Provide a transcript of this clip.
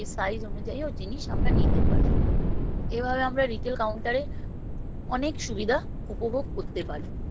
size অনুযায়ীও জিনিস আমরা নিতে পারি এভাবে আমরা retail counter এ অনেক সুবিধা উপভোগ করতে পারি